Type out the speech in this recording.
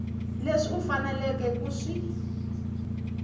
leswi u faneleke ku swi